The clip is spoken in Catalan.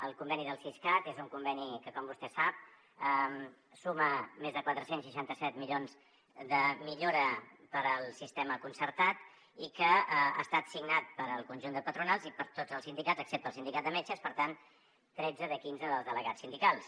el conveni del siscat és un conveni que com vostè sap suma més de quatre cents i seixanta set milions de millora per al sistema concertat i que ha estat signat pel conjunt de patronals i per tots els sindicats excepte el sindicat de metges per tant tretze de quinze dels delegats sindicals